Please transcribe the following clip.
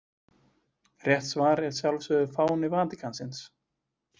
Rétt svar er að sjálfsögðu fáni Vatíkansins.